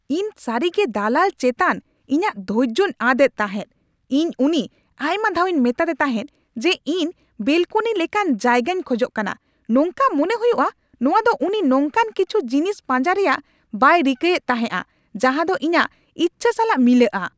ᱤᱧ ᱥᱟᱹᱨᱤᱜᱮ ᱫᱟᱞᱟᱞ ᱪᱮᱛᱟᱱ ᱤᱧᱟᱹᱜ ᱫᱷᱚᱨᱡᱳᱧ ᱟᱫ ᱮᱫ ᱛᱟᱦᱮᱫ ᱾ ᱤᱧ ᱩᱱᱤ ᱟᱭᱢᱟ ᱫᱷᱟᱣᱤᱧ ᱢᱮᱛᱟᱫᱮ ᱛᱟᱦᱮᱫ ᱡᱮ ᱤᱧ ᱵᱮᱞᱠᱚᱱᱤ ᱞᱮᱠᱟᱱ ᱡᱟᱭᱜᱟᱧ ᱠᱷᱚᱡᱚᱜ ᱠᱟᱱᱟ ᱾ ᱱᱚᱝᱠᱟ ᱢᱚᱱᱮ ᱦᱩᱭᱩᱜᱼᱟ ᱱᱚᱶᱟ ᱫᱚ ᱩᱱᱤ ᱱᱚᱝᱠᱟᱱ ᱠᱤᱪᱷᱩ ᱡᱤᱱᱤᱥ ᱯᱟᱸᱡᱟ ᱨᱮᱭᱟᱜ ᱵᱟᱭ ᱨᱤᱠᱟᱹᱭᱮᱫ ᱛᱟᱦᱮᱸᱜᱼᱟ ᱡᱟᱦᱟᱫᱚ ᱤᱧᱟᱹᱜ ᱤᱪᱪᱷᱟ ᱥᱟᱞᱟᱜ ᱢᱤᱞᱟᱹᱜᱼᱟ ᱾